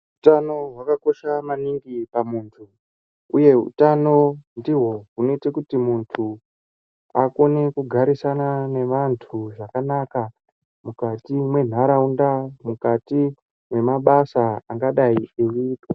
Hutano hwakakosha maningi pamuntu, uye hutano ndiho hunoita kuti muntu akone kugarisana nevantu zvakanaka, mukati mwenharaunda, mukati mwemabasa angadai eiitwa.